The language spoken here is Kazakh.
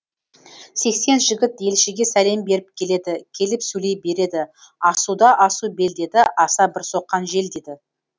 сексен жігіт елшіге сәлем беріп келеді келіп сөйлей береді асуда асу бел деді аса бір соққан жел деді